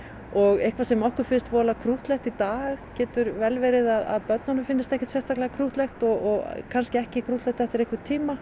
og eitthvað sem okkur finnst voðalega krúttlegt í dag getur verið að börnunum finnist ekkert sérstaklega krúttlegt og kannski ekki krúttlegt eftir einhvern tíma